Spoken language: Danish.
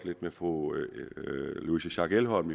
lidt med fru louise schack elholm